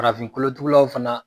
Farafin kolotugulaw fana